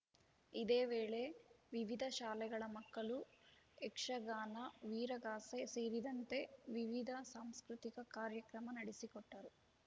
ಇದೇ ವೇಳೆ ವಿವಿಧ ಶಾಲೆಗಳ ಮಕ್ಕಳು ಯಕ್ಷಗಾನ ವೀರಗಾಸೆ ಸೇರಿದಂತೆ ವಿವಿಧ ಸಾಂಸ್ಕೃತಿಕ ಕಾರ್ಯಕ್ರಮ ನಡೆಸಿಕೊಟ್ಟರು